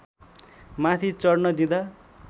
माथि चढ्न दिँदा